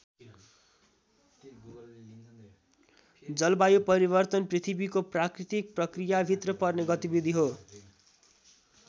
जलवायु परिवर्तन पृथ्वीको प्राकृतिक प्रक्रियाभित्र पर्ने गतिविधि हो।